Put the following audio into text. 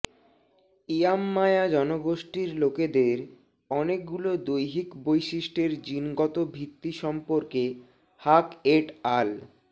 Yamnaya জনগোষ্ঠীর লোকেদের অনেকগুলো দৈহিক বৈশিষ্ট্যের জিনগত ভিত্তি সম্পর্কে হাক এট আল